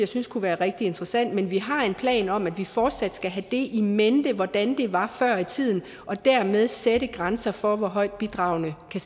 synes kunne være rigtig interessant men vi har en plan om at vi fortsat skal have in mente hvordan det var før i tiden og dermed sætte grænser for hvor højt bidragene kan